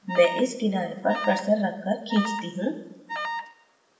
मैं इस किनारे पर cursor रख कर खींचती हूँ